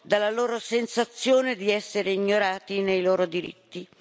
dalla loro sensazione di essere ignorati nei loro diritti.